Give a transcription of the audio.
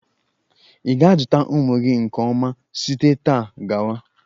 Ị ga-azụ ụmụ gị nke ọma site taa gawa!